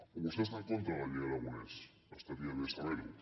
o vostè està en contra de la llei aragonès estaria bé saber ho